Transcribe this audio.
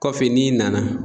Kɔfɛ n'i nana